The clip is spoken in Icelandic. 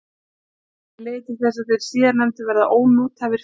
Þetta leiðir til þess að þeir síðarnefndu verða ónothæfir fyrr.